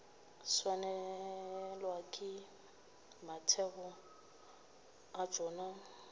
swanelwa ke mathebo a tšona